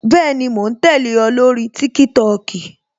Bẹẹni, mo ń tẹle o, lórí TikTok